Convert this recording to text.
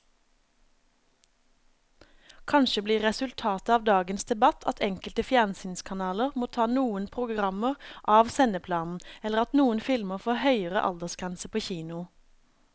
Kanskje blir resultatet av dagens debatt at enkelte fjernsynskanaler må ta noen programmer av sendeplanen eller at noen filmer får høyere aldersgrense på kino.